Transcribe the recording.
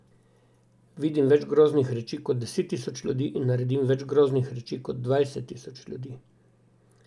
Vidim več groznih reči kot deset tisoč ljudi in naredim več groznih reči kot dvajset tisoč ljudi.